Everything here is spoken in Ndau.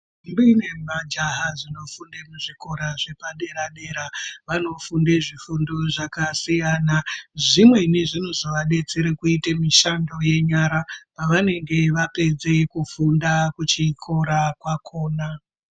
Ntombi nemajaha zvinofunde kuzvikora zvepaderadera vanofunde zvifundo zvakasiyana zvimweni zvinozovadetsera kuite mishando yenyara pavanenge vapedza kufunda kuchikora kwakhona.